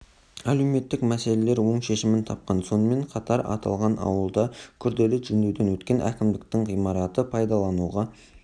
әлеуметтік мәселелер оң шешімін тапқан сонымен қатар аталған ауылда күрделі жөндеуден өткен кімдіктің ғимараты пайдалануға